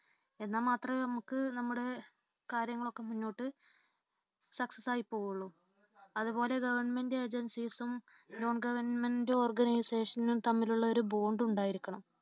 എന്നാൽ മാത്രമേ നമുക്ക് നമ്മുടെ കാര്യങ്ങളൊക്കെ മുന്നോട്ട് success ആയി പോകുകയുള്ളു. അതുപോലെ തന്നെ governmentagencies ഉം non-governmentorganisation നും തമ്മിലുള്ള ഒരു bond ഉണ്ടായിരിക്കണം.